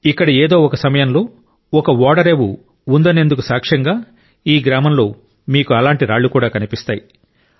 ఇక్కడ ఏదో ఒక సమయంలో ఒక ఓడరేవు ఉందనేందుకు సాక్ష్యంగా ఈ గ్రామంలో మీకు అలాంటి రాళ్ళు కూడా కనిపిస్తాయి